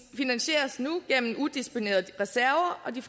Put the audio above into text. finansieres nu gennem udisponerede reserver og de